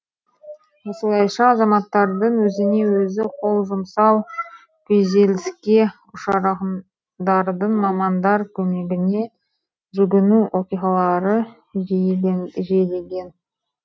осылайша азаматтардың өзіне өзі қол жұмсау күйзеліске ұшырағандардың мамандар көмегіне жүгіну оқиғалары жиілеген